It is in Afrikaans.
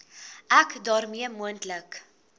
ek daarmee moontlike